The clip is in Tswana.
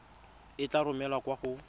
e tla romelwa kwa go